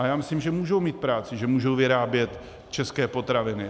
A já myslím, že můžou mít práci, že můžou vyrábět české potraviny.